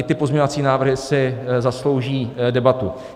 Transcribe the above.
I ty pozměňovací návrhy si zaslouží debatu.